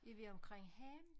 Er vi omkring havnen?